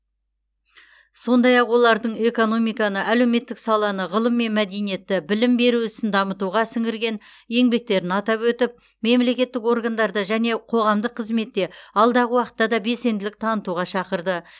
сондай ақ олардың экономиканы әлеуметтік саланы ғылым мен мәдениетті білім беру ісін дамытуға сіңірген еңбектерін атап өтіп мемлекеттік органдарда және қоғамдық қызметте алдағы уақытта да белсенділік танытуға шақырды